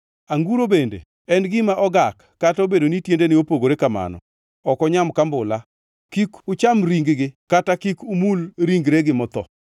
Anguro bende en gima ogak kata obedo ni tiendene opogore kamano, ok onyam kambula. Kik ucham ring-gi kata kik umul ringregi motho.